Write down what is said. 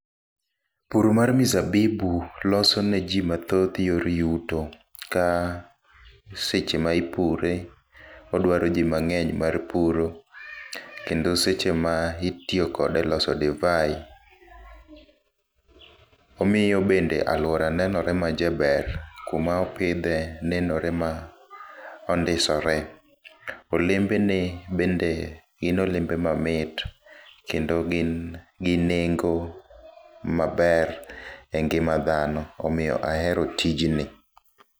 Pur mar mizabibu loso ne ji mathoth yor yuto ka seche ma ipure odwaro ji mang'eny mar puro. Kendo seche ma itiyo kode e loso divai, omiyo bende alwora nenore ma jaber. Kuma opidhe nenore ma ondisore, olembene bende gin olembe mamit kendo gin gi nengo maber e ngima dhano. Omiyo ahero tijni.